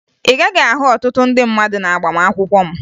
Ị gaghị ahụ ọtụtụ ndị mmadụ n'agbamakwụkwọ m